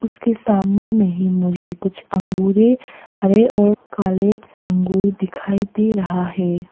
उसके सामने में ही मुझे कुछ अंगूरे हरे और काले अंगूर दिखाई दे रहा है।